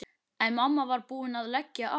En mamma var búin að leggja á.